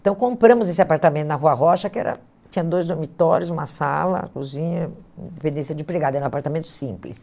Então compramos esse apartamento na Rua Rocha, que era tinha dois dormitórios, uma sala, cozinha, independência de empregada, era um apartamento simples.